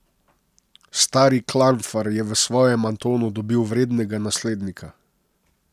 Stari Klanfar je v svojem Antonu dobil vrednega naslednika.